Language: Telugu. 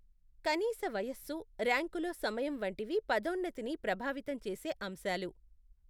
కనీస వయస్సు, ర్యాంకులో సమయం వంటివి పదోన్నతిని ప్రభావితం చేసే అంశాలు.